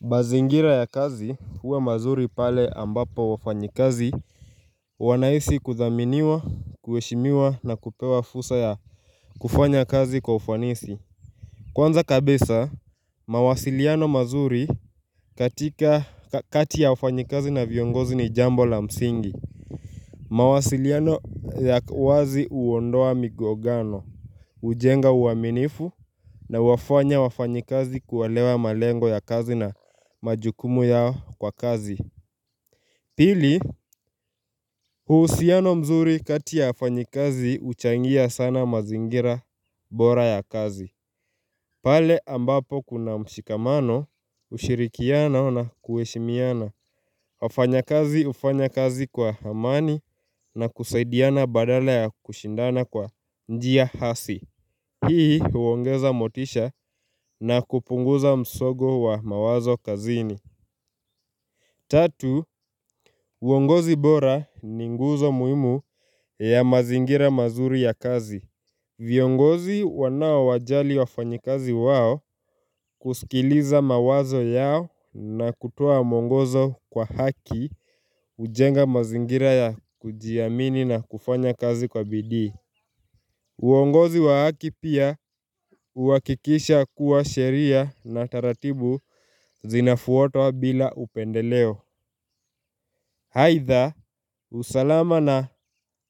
Mazingira ya kazi huwe mazuri pale ambapo wafanyikazi wanahisi kuthaminiwa, kueshimiwa na kupewa fusa ya kufanya kazi kwa ufanisi Kwanza kabisa, mawasiliano mazuri kati ya wafanyikazi na viongozi ni jambo la msingi mawasiliano ya wazi huondoa migongano ujenga uaminifu na huwafanya wafanyikazi kuelewa malengo ya kazi na majukumu yao kwa kazi Pili, huusiano mzuri katia ya wafanyakazi uchangia sana mazingira bora ya kazi. Pale ambapo kuna mshikamano, ushirikiano na kueshimiana. Wafanyakazi hufanya kazi kwa amani na kusaidiana badala ya kushindana kwa njia hasi. Hii huongeza motisha na kupunguza msongo wa mawazo kazini. Tatu, uongozi bora ni nguzo muimu ya mazingira mazuri ya kazi. Viongozi wanao wajali wafanyikazi wao kusikiliza mawazo yao na kutowa moungozo kwa haki hujenga mazingira ya kujiamini na kufanya kazi kwa bidii. Uongozi wa haki pia huwakikisha kuwa sheria na taratibu zinafuatwa bila upendeleo. Haitha usalama na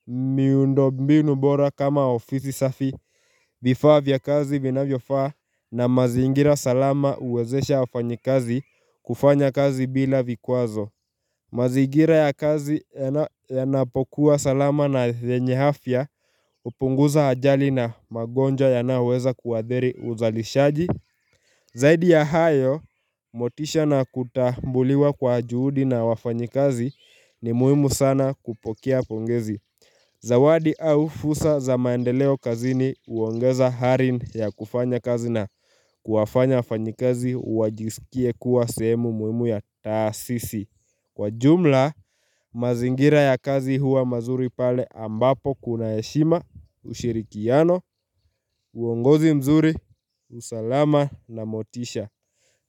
miundo mbinu bora kama ofisi safi vifaa vya kazi vinavyo faa na mazigira salama uwezesha wafanyakazi kufanya kazi bila vikwazo. Mazigira ya kazi yanapokuwa salama na yenye afya upunguza ajali na magonja yanayoweza kuadhiri uzalishaji. Zaidi ya hayo, motisha na kutambuliwa kwa juhudi na wafanyikazi ni muhimu sana kupokea pongezi. Zawadi au fursa za maendeleo kazini uongeza hari ya kufanya kazi na kuwafanya wafanyakazi wajisikie kuwa semu muhimu ya taasisi. Kwa jumla, mazingira ya kazi huwa mazuri pale ambapo kuna heshima, ushirikiano, uongozi mzuri, usalama na motisha.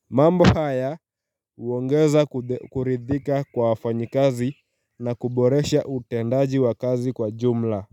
Mambo haya uongeza kuridhika kwa wafanyakazi na kuboresha utendaji wa kazi kwa jumla.